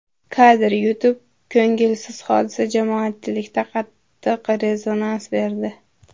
Kadr: YouTube Ko‘ngilsiz hodisa jamoatchilikda qattiq rezonans berdi.